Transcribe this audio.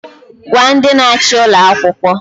Gwa ndị na-achị ụlọ akwụkwọ!